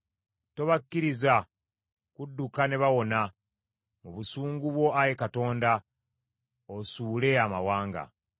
Tobakkiriza kudduka ne bawona; mu busungu bwo, Ayi Katonda, osuule amawanga.